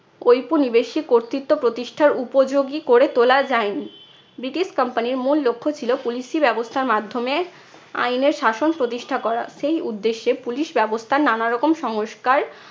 উপনিবেশিক কর্তৃত্ব প্রতিষ্ঠার উপযোগী করে তোলা যায় নি। ব্রিটিশ company র মূল লক্ষ্য ছিল police ই ব্যবস্থার মাধ্যমে আইনের শাসন প্রতিষ্ঠা করা। সেই উদ্দেশ্যে police ব্যবস্থার নানারকম সংস্কার